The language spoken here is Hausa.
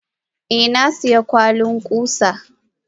Eh nasiya kwalin kusa.